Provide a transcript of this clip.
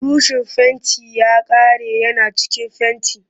Burushin fentin ya karye yana cikin fenti